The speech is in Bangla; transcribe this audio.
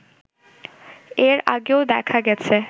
এর আগেও দেখা গেছে